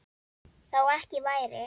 Þó ekki væri.